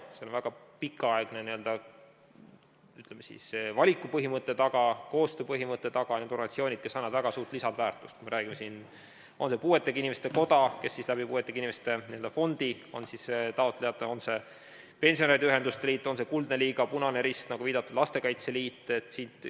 Seal on väga pikaaegne valikupõhimõte taga, koostööpõhimõte taga, need on organisatsioonid, mis annavad väga suurt lisandväärtust: puuetega inimeste koda, kes puuetega inimeste n-ö fondi kaudu on taotleja, pensionäride ühenduste liit, Kuldne Liiga, Eesti Punane Rist, nagu viidatud, Lastekaitse Liit.